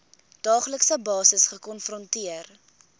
daaglikse basis gekonfronteer